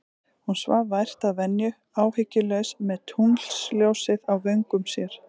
Hún svaf vært að venju, áhyggjulaus, með tunglsljósið á vöngum sér.